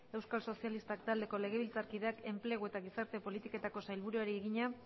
euskal sozialistak taldeko legebiltzarkideak enplegu eta gizarte politiketako sailburuari egina